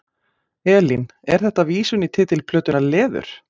Elín: Er þetta vísun í titil plötunnar, Leður?